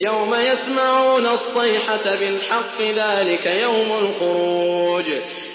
يَوْمَ يَسْمَعُونَ الصَّيْحَةَ بِالْحَقِّ ۚ ذَٰلِكَ يَوْمُ الْخُرُوجِ